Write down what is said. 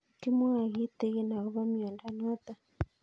Kimwae kitig'in akopo miondo notok